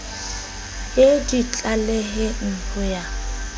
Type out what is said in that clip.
ye di tlaleheng ho ya